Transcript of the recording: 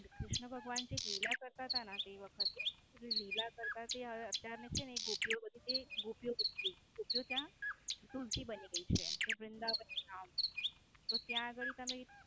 જે ક્રિષ્ન ભગવાન લીલા કરતા હતા ને તે વખતે એટલે લીલા કરતા તે છે ને ગોપીઓ બધી તે ગોપીઓ બધી છે ત્યાં તુલસી બની ગઈ છે. તે વૃન્દાવનધામ. તો ત્યાં ગાળી તમે.